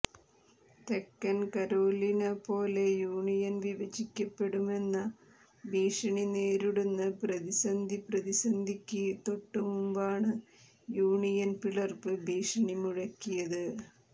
തെക്കൻ കരോലിന പോലെ യൂണിയൻ വിഭജിക്കപ്പെടുമെന്ന ഭീഷണി നേരിടുന്ന പ്രതിസന്ധി പ്രതിസന്ധിക്ക് തൊട്ടുമുമ്പാണ് യൂണിയൻ പിളർപ്പ് ഭീഷണി മുഴക്കിയത്